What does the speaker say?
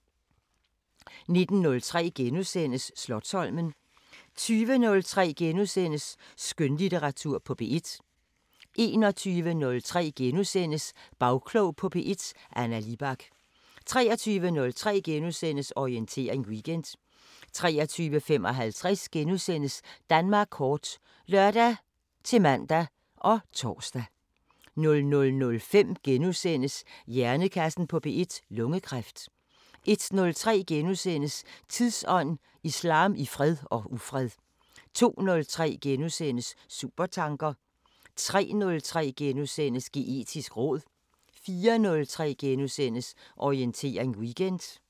19:03: Slotsholmen * 20:03: Skønlitteratur på P1 * 21:03: Bagklog på P1: Anna Libak * 23:03: Orientering Weekend * 23:55: Danmark kort *(lør-man og tor) 00:05: Hjernekassen på P1: Lungekræft * 01:03: Tidsånd: Islam i fred og ufred * 02:03: Supertanker * 03:03: Geetisk råd * 04:03: Orientering Weekend *